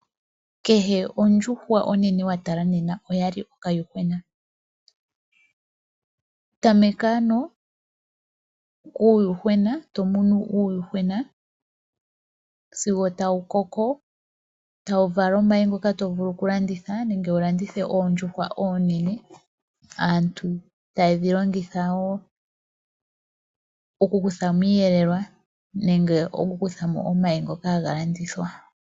Kehe ondjuhwa onene wa tala nena oya li okayuhwena. Tameka ano kuuyuhwena, to munu uuyuhwena sigo tawu koko, tawu vala omayi ngoka to vulu okulanditha nenge wu landithe oondjuhwa oonene. Aantu taye dhi longitha wo okukutha mo iiyelelwa nenge omayi ngoka haga landithwa.